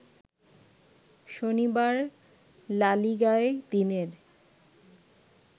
শনিবার লা লিগায় দিনের